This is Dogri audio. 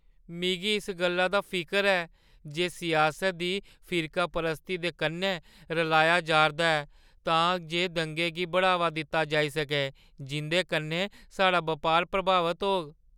मिगी इस गल्ला दा फिकर ऐ जे सियासत गी फिरकापरस्ती दे कन्नै रलाया जा'रदा ऐ तां जे दंगें गी बढ़ावा दित्ता जाई सकै जिं'दे कन्नै साढ़ा बपार प्रभावत होग।